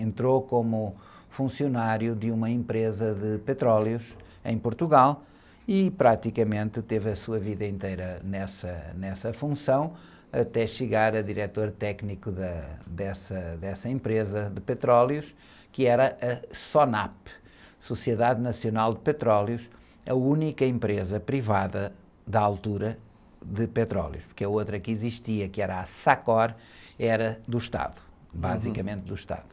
entrou como funcionário de uma empresa de petróleos em Portugal e praticamente teve a sua vida inteira nessa, nessa função, até chegar a diretor técnico da, dessa, dessa empresa de petróleos, que era a SONAP, Sociedade Nacional de Petróleos, a única empresa privada da altura de petróleos, porque a outra que existia, que era a SACOR, era do Estado, basicamente do Estado.